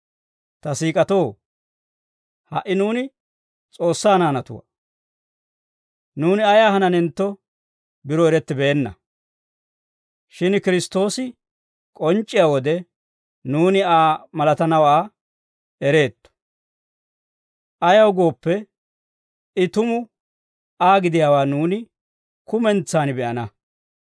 Ta siik'atoo, ha"i nuuni S'oossaa naanatuwaa; nuuni ayaa hananentto biro erettibeenna; shin Kiristtoosi k'onc'c'iyaa wode, nuuni Aa malatanawaa ereetto. Ayaw gooppe, I tumu Aa gidiyaawaa nuuni kumentsan be'ana.